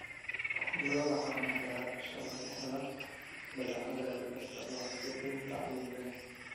Lo'da caanaha ayaa ah isha laga helo badeecadaha laga isticmaalo suuqyada caalamiga ah.